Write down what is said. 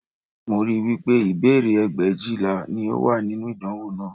Mo rí i wí pé ìbéèrè ẹgbẹ̀éjìlá ni ó wà nínú ìdánwò náà